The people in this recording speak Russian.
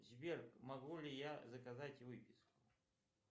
сбер могу ли я заказать выписку